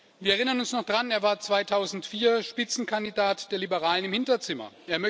Wir erinnern uns noch dran Er war 2004 Spitzenkandidat der Liberalen im Hinterzimmer.